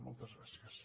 moltes gràcies